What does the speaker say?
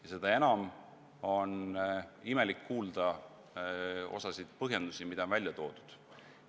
Ja seda enam imelik on kuulda mõningaid põhjendusi, mis on välja toodud.